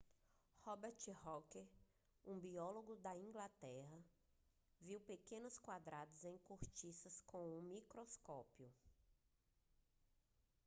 robert hooke um biólogo da inglaterra viu pequenos quadrados em cortiça com um microscópio